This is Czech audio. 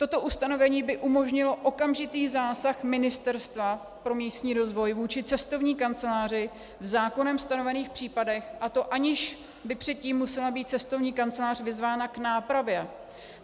Toto ustanovení by umožnilo okamžitý zásah Ministerstva pro místní rozvoj vůči cestovní kanceláři v zákonem stanovených případech, a to aniž by předtím musela být cestovní kancelář vyzvána k nápravě.